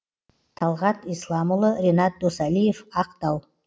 талғат исламұлы ренат досалиев ақтау